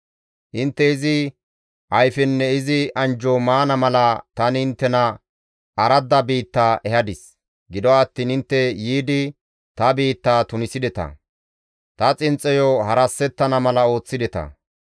Intte izi ayfenne izi anjjo maana mala tani inttena aradda biitta ehadis; gido attiin intte yiidi ta biitta tunisideta; ta xinxxoyo harasettana mala ooththideta.